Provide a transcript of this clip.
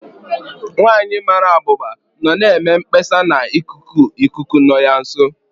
Nwanyị mara abụba nọ na-eme mkpesa na ikuku ikuku nọ ya nso.